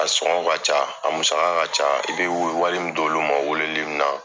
A sɔngɔ ka ca a musaka ka ca i bɛ wari min don olu ma weleli in na.